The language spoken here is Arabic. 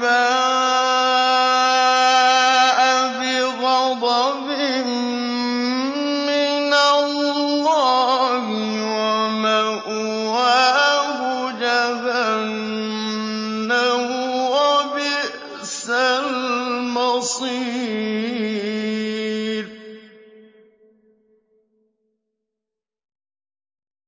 بَاءَ بِغَضَبٍ مِّنَ اللَّهِ وَمَأْوَاهُ جَهَنَّمُ ۖ وَبِئْسَ الْمَصِيرُ